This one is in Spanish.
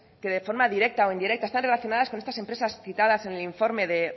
que de forma directa o indirecta están relacionadas con estas empresas citadas en el informe de